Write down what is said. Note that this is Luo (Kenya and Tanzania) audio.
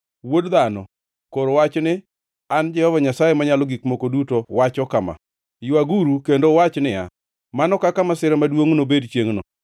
“Wuod dhano, kor wach ni, ‘An Jehova Nyasaye Manyalo Gik Moko Duto wacho kama: “ ‘Ywaguru kendo uwach niya, “Mano kaka masira maduongʼ nobed chiengʼno!”